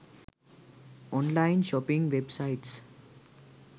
online shopping websites